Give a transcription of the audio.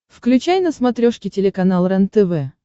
включай на смотрешке телеканал рентв